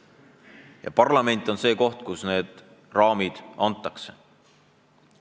Ja parlament on see koht, kus need raamid antakse.